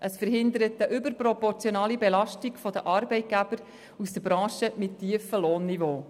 Der Lastenausgleich verhindert eine überproportionale Belastung der Arbeitgeber aus Branchen mit tiefen Lohnniveaus.